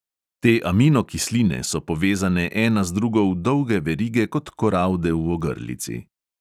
Te amino kisline so povezane ena z drugo v dolge verige kot koralde v ogrlici.